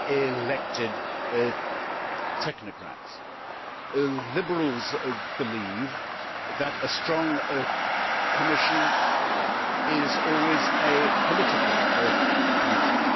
elected technocrats. Liberals believe that a strong Commission is always a political Commission.